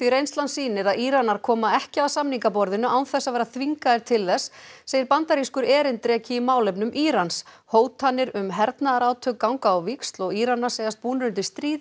reynslan sýnir að Íranar koma ekki að samningaborðinu án þess að vera þvingaðir til þess segir bandarískur erindreki í málefnum Írans hótanir um hernaðarátök ganga á víxl og Íranar segjast búnir undir stríð